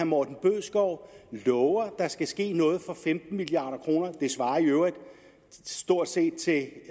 morten bødskov at love at der skal ske noget for femten milliard kroner det svarer i øvrigt stort set til at